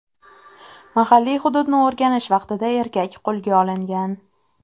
Mahalliy hududni o‘rganish vaqtida erkak qo‘lga olingan.